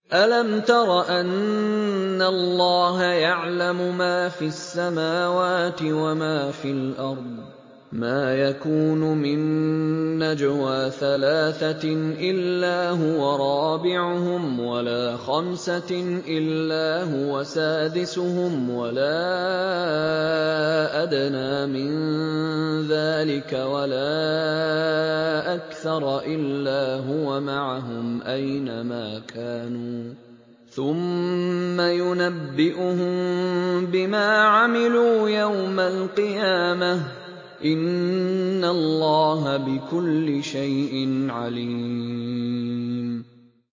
أَلَمْ تَرَ أَنَّ اللَّهَ يَعْلَمُ مَا فِي السَّمَاوَاتِ وَمَا فِي الْأَرْضِ ۖ مَا يَكُونُ مِن نَّجْوَىٰ ثَلَاثَةٍ إِلَّا هُوَ رَابِعُهُمْ وَلَا خَمْسَةٍ إِلَّا هُوَ سَادِسُهُمْ وَلَا أَدْنَىٰ مِن ذَٰلِكَ وَلَا أَكْثَرَ إِلَّا هُوَ مَعَهُمْ أَيْنَ مَا كَانُوا ۖ ثُمَّ يُنَبِّئُهُم بِمَا عَمِلُوا يَوْمَ الْقِيَامَةِ ۚ إِنَّ اللَّهَ بِكُلِّ شَيْءٍ عَلِيمٌ